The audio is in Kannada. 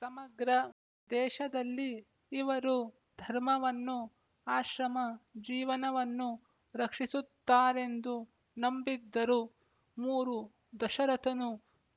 ಸಮಗ್ರ ದೇಶದಲ್ಲಿ ಇವರು ಧರ್ಮವನ್ನೂ ಆಶ್ರಮ ಜೀವನವನ್ನೂ ರಕ್ಷಿಸುತ್ತಾರೆಂದು ನಂಬಿದ್ದರು ಮೂರು ದಶರಥನು